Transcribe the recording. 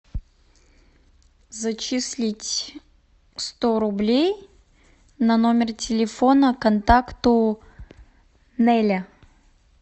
зачислить сто рублей на номер телефона контакту нелля